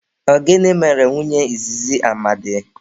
Ọ gịnị mere nwunye izizi Amadi?